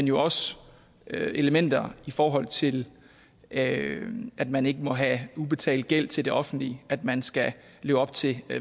jo også elementer i forhold til at at man ikke må have ubetalt gæld til det offentlige at man skal leve op til